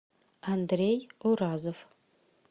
андрей уразов